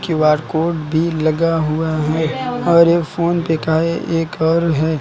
Q R code भी लगा हुआ है और ये फोन पे का है एक और है।